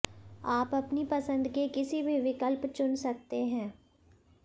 आप अपनी पसंद के किसी भी विकल्प चुन सकते हैं